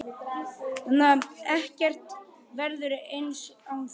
Ekkert verður eins án þín.